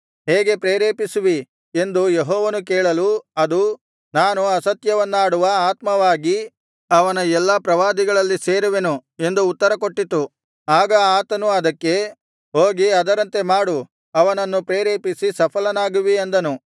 ಹೇಗೆ ಪ್ರೇರೇಪಿಸುವಿ ಎಂದು ಯೆಹೋವನು ಕೇಳಲು ಅದು ನಾನು ಅಸತ್ಯವನ್ನಾಡುವ ಆತ್ಮವಾಗಿ ಅವನ ಎಲ್ಲಾ ಪ್ರವಾದಿಗಳಲ್ಲಿ ಸೇರುವೆನು ಎಂದು ಉತ್ತರಕೊಟ್ಟಿತು ಆಗ ಆತನು ಅದಕ್ಕೆ ಹೋಗಿ ಅದರಂತೆ ಮಾಡು ಅವನನ್ನು ಪ್ರೇರೇಪಿಸಿ ಸಫಲವಾಗುವಿ ಅಂದನು